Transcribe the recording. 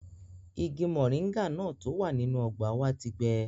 Igi mọ̀ríńgà náà tó wà nínú ọgbà wa ti gbẹ